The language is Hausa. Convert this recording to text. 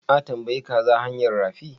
A tambayi kaza hanyar rafi?